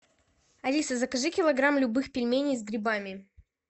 алиса закажи килограмм любых пельменей с грибами